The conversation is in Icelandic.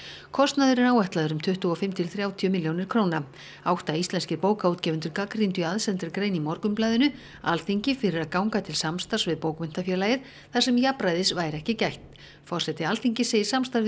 kostnaður er áætlaður um tuttugu og fimm til þrjátíu milljónir króna átta íslenskir bókaútgefendur gagnrýndu í aðsendri grein í Morgunblaðinu Alþingi fyrir að ganga til samstarfs við bókmenntafélagið þar sem jafnræðis væri ekki gætt forseti Alþingis segir samstarfið